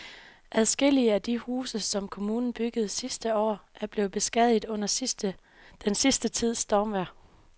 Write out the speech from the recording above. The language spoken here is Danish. Adskillige af de huse, som kommunen byggede sidste år, er blevet beskadiget under den sidste tids stormvejr.